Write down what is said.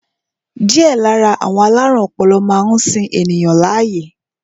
Díẹ̀ lára àwọn alárùn ọpọlọ máa ń sin ènìyàn láàyè